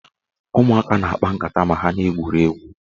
Ụmụaka na-akpa nkata ma ha na-egwuri egwu